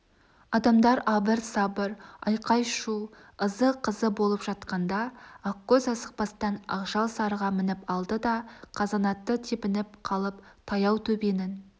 адамдар абыр-сабыр айқай-шу ызы-қызы болып жатқанда ақкөз асықпастан ақжал сарыға мініп алды да қазанатты тебініп қалып таяу төбенің